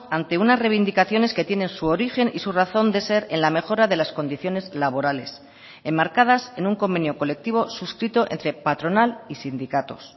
ante unas reivindicaciones que tienen su origen y su razón de ser en la mejora de las condiciones laborales enmarcadas en un convenio colectivo suscrito entre patronal y sindicatos